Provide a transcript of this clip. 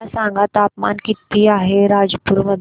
मला सांगा तापमान किती आहे रायपूर मध्ये